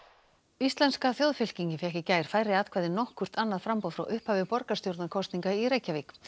íslenska þjóðfylkingin fékk í gær færri atkvæði en nokkurt annað framboð frá upphafi borgarstjórnarkosninga í Reykjavík